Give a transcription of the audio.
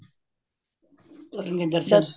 ਕਰਨ ਗੇ ਦਰਸ਼ਨ